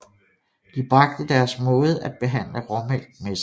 De bragte deres måde at behandle råmælk med sig